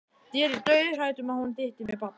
Ég yrði dauðhrædd um að hún dytti með barnið.